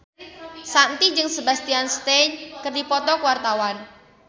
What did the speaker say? Shanti jeung Sebastian Stan keur dipoto ku wartawan